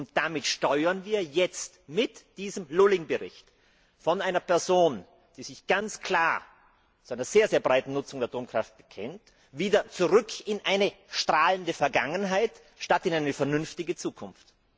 Und damit steuern wir jetzt mit diesem Lulling Bericht, von einer Person, die sich ganz klar zu einer sehr breiten Nutzung der Atomkraft bekennt, wieder zurück in eine strahlende Vergangenheit statt in eine vernünftige Zukunft.